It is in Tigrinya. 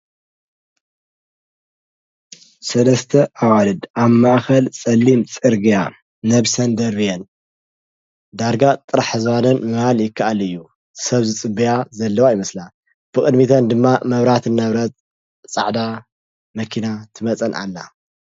ሠለስተ ኣዋልድ ኣብ ማእኸል ጸሊም ጽርግያ ነብሰን ደርብን ዳርጋ ጥራሕ ዝባነን ምባል ይከኣል እዩ ሰብ ዝጽበያ ዘለዋ ይመስላ ብቕድሚተን ድማ መብራት ናብረለት ጻዕዳ መኪና ትመጸን ኣላ።